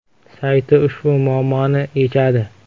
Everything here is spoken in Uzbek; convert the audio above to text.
sayti ushbu muammoni yechadi.